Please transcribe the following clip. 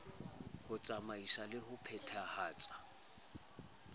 ho tsamaisa le ho phethahatsa